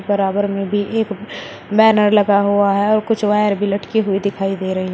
बराबर में भी एक बैनर लगा हुआ है और कुछ वायर भी लटकी हुई दिखाई दे रही है।